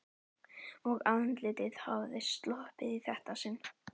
Og andlitið hafði sloppið í þetta sinn.